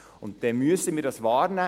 Dann müssen wir diese wahrnehmen;